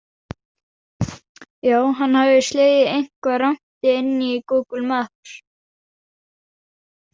Já, hann hafði slegið eitthvað rangt inn í Google Maps.